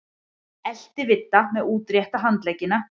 Elti Vidda með útrétta handleggina.